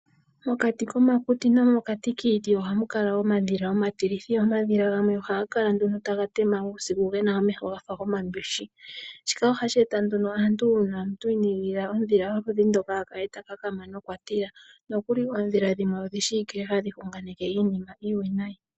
Mokati komakuti oha mukala omadhila omatilithi go omadhila gamwe ohaga kala taga tema uusiku gena omeho gafa gomambishi shika ohashi eta uumbanda kaantu mboka inaayigilila uusiku.